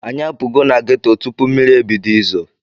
Anyị apugo na geto tupu mmiri ebido izo.